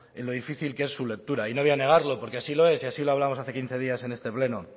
en lo difícil que es su lectura y no voy a negarlo porque así lo es y así lo hablamos hace quince días en este pleno